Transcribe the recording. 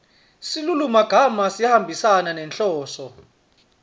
silulumagama sihambisana nenhloso